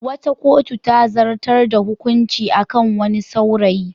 Wata kotu ta zartar da hukunci a kan wani saurayi.